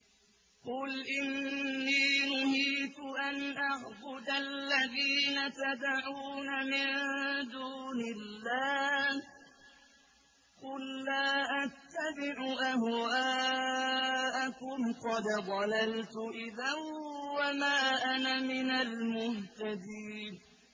قُلْ إِنِّي نُهِيتُ أَنْ أَعْبُدَ الَّذِينَ تَدْعُونَ مِن دُونِ اللَّهِ ۚ قُل لَّا أَتَّبِعُ أَهْوَاءَكُمْ ۙ قَدْ ضَلَلْتُ إِذًا وَمَا أَنَا مِنَ الْمُهْتَدِينَ